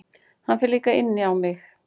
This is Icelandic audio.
Hann fer líka inn á mig.